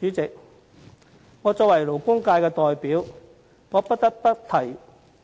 主席，作為勞工界的代表，我不得不提